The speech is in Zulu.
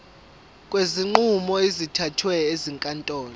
kwezinqumo ezithathwe ezinkantolo